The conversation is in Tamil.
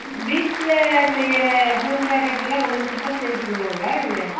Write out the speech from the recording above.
வீட்ல சைரா home product எல்லா கொண்டுவந்து கொடுத்தா sale பண்ணுவாங்கள இல்ல